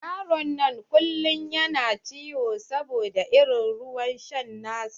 Yaron nan kullum yana ciwo saboda irin ruwan sha na su.